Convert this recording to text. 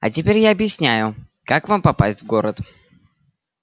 а теперь я объясняю как вам попасть в город